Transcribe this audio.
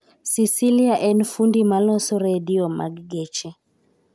Cecilia en fundi ma loso redio mag geche